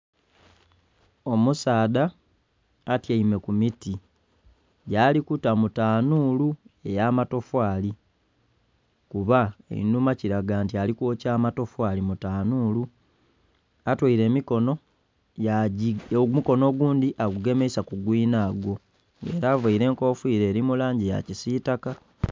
Omusaadha atyaime ku miti gyali kuta mu tanuulu ey'amatofaali, kuba einhuma kilaga nti ali kwokya amatofaali mu tanuulu. Atweile emikono...omukono ogundi agugemeisa ku gwinagwo. Ela availe enkofiira eli mu langi ya kisiitaka.